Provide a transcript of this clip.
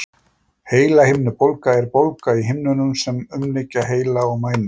Heilahimnubólga er bólga í himnunum sem umlykja heila og mænu.